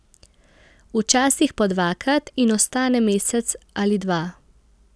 Včasih po dvakrat in ostane mesec ali dva.